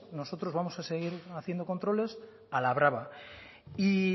nosotros vamos a seguir haciendo controles a la brava y